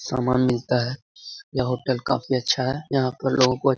सामान मिलता है यह होटल काफी अच्छा है यहाँ पर लोगों को --